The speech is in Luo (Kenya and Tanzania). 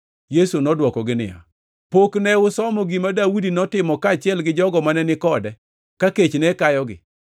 Yesu nodwokogi niya, “Pok ne usomo gima Daudi notimo kaachiel gi jogo mane ni kode ka kech ne kayogi?